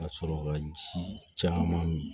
Ka sɔrɔ ka ji caman mi